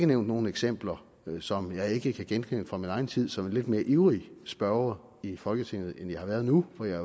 nævnt nogle eksempler som jeg ikke kan genkende fra min egen tid som en lidt mere ivrig spørger i folketinget end jeg har været nu for jeg